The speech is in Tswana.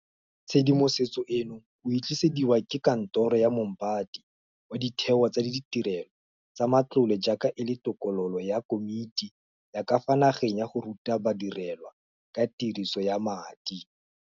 Tshedimosetso eno o e tlisediwa ke Kantoro ya Moombate wa Ditheo tsa Ditirelo tsa Matlole jaaka e le tokololo ya Komiti ya ka fa Nageng ya go Ruta Ba direlwa ka Tiriso ya Madi.